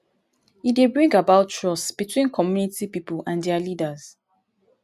e dey bring about trust between community pipo and their leaders